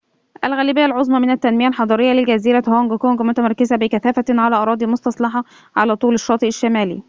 الغالبية العظمى من التنمية الحضرية لجزيرة هونج كونج متمركزةٌ بكثافةٍ على أراضٍ مستصلحة على طول الشاطئ الشمالي